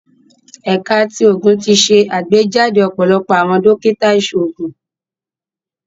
Ẹka ti Oogun ti ṣe agbejade ọpọlọpọ awọn dokita iṣoogun